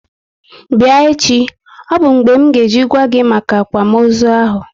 Bịa echi! Ọ bụ mgbe m nga eji gwa gi maka akwamozu ahu